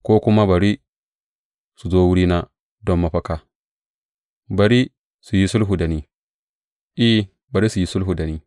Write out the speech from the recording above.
Ko kuma bari su zo wurina don mafaka; bari su yi sulhu da ni, I, bari su yi sulhu da ni.